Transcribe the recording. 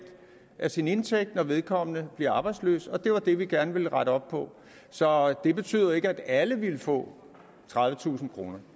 af sin indtægt når vedkommende bliver arbejdsløs og det var det vi gerne ville rette op på så det betyder jo ikke at alle ville få tredivetusind kroner